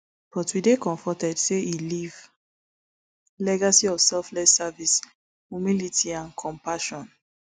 but we dey comforted say e leave legacy of selfless service humility and compassion